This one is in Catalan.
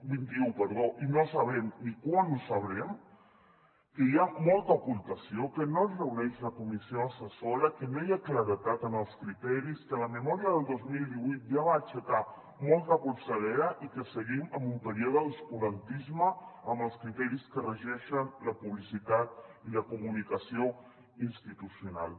vint un perdó i no sabrem ni quan ho sabrem que hi ha molta ocultació que no es reuneix la comissió assessora que no hi ha claredat en els criteris que la memòria del dos mil divuit ja va aixecar molta polseguera i que seguim amb un període d’obscurantisme amb els criteris que regeixen la publicitat i la comunicació institucional